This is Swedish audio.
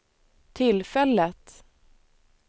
tillfället